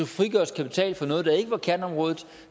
frigøres kapital fra noget der ikke var kerneområdet